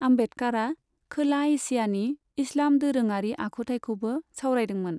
आम्बेदकारा खोला एसियानि इस्लाम दोरोङारि आखुथाइखौबो सावरायदोंमोन।